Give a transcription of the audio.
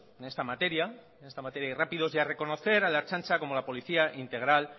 en esta materia en esta materia ir rápidos y a reconocer a la ertzaintza como la policía integral